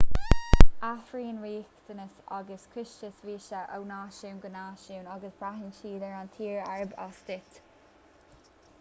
athraíonn riachtanais agus costais víosa ó náisiún go náisiún agus braitheann siad ar an tír arb as duit